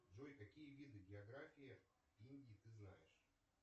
джой какие виды географии индии ты знаешь